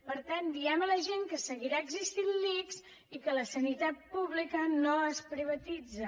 per tant diguem a la gent que seguirà existint l’ics i que la sanitat pública no es privatitza